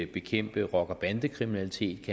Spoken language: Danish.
bekæmpe rocker og bandekriminalitet